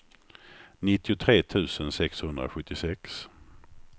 nittiotre tusen sexhundrasjuttiosex